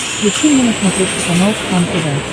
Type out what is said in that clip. включи мне на смотрешке канал кхлм тв